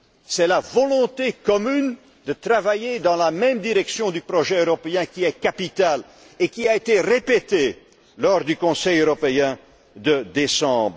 C'est la volonté commune de travailler dans la même direction du projet européen qui est capitale, comme cela a été répété lors du Conseil européen de décembre.